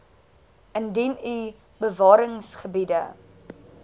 indien u bewaringsgebiede